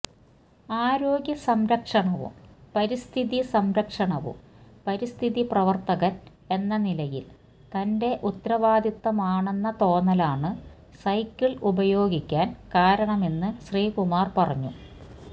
ആരോഗ്യസംരക്ഷണവും പരിസ്ഥിതിസംരക്ഷണവും പരിസ്ഥിതിപ്രവർത്തകൻ എന്നനിലയിൽ തന്റെ ഉത്തരവാദിത്വമാണെന്ന തോന്നലാണ് സൈക്കിൾ ഉപയോഗിക്കാൻ കാരണമെന്ന് ശ്രീകുമാർ പറഞ്ഞു